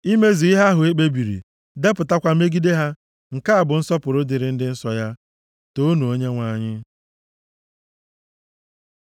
imezu ihe ahụ e kpebiri, depụtakwa megide ha. Nke a bụ nsọpụrụ dịrị ndị nsọ ya. Toonu Onyenwe anyị.